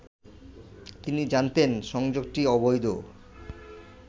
তিনি জানতেন সংযোগটি অবৈধ